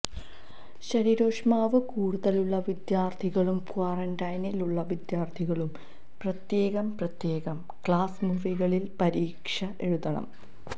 ശരീരോഷ്മാവ് കൂടുതലുള്ള വിദ്യാര്ഥികളും ക്വാറന്റൈനില് ഉള്ള വിദ്യാര്ഥികളും പ്രത്യേകം പ്രത്യേകം ക്ലാസ് മുറികളില് പരീക്ഷ എഴുതണം